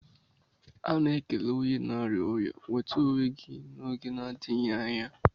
A na-ekele onye na-arịa ọrịa "nwete onwe gi n'oge na-adịghị anya